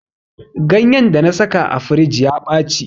Ganyar da na saka a firij ya ɓaci.